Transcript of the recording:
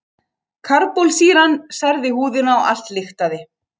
Karbólsýran særði húðina og allt lyktaði.